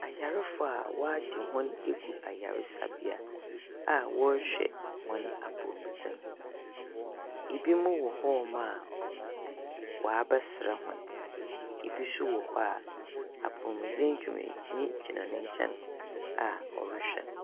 Ayarfo a wɔagye hɔn egu ayarsabea a wɔrehwɛ hɔn apɔwmudzen. Binom wɔ hɔnnom a wɔabɛsra hɔn. Bi nso wɔ hɔ a apɔmudzen dwumanyi gyina ne nkyɛn a ɔrehwɛ no.